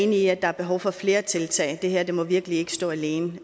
enig i at der er behov for flere tiltag det her må virkelig ikke stå alene